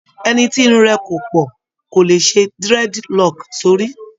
Ẹni tí irun rẹ̀ kò pọ̀ kò le ṣe dreadlock sórí